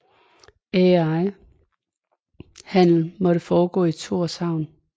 Al handel måtte foregå i Tórshavn